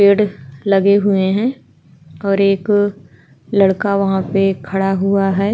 पेड़ लगे हुए हैं और एक लड़का वहाँ पे खड़ा हुआ है।